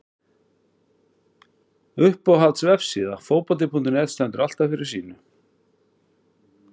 Uppáhalds vefsíða? Fótbolti.net stendur alltaf fyrir sínu.